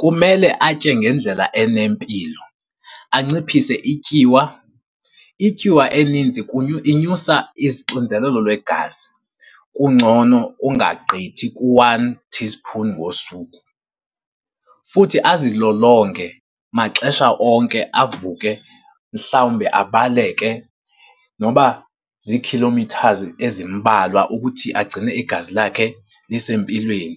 Kumele atye ngendlela enempilo aciphise ityiwa. Ityiwa eninzi inyusa izixinzelelo lwegazi, kungcono ungagqithi ku-one teaspoon ngosuku. Futhi azilolonge maxesha onke, avuke mhlawumbi abaleke noba ziikhilomithazi ezimbalwa ukuthi agcine igazi lakhe lisempilweni.